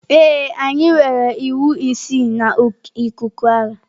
Ee, anyị nwere iwu isii na ikuku agha.